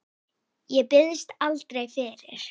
Ég biðst aldrei fyrir.